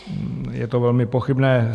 Je to velmi pochybné.